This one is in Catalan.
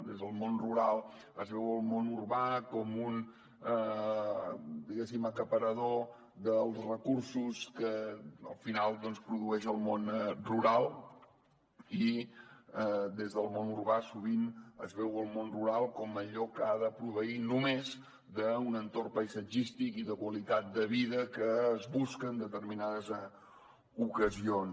des del món rural es veu el món urbà com un diguéssim acaparador dels recursos que al final produeix el món rural i des del món urbà sovint es veu el món rural com allò que ha de proveir només d’un entorn paisatgístic i de qualitat de vida que es busca en determinades ocasions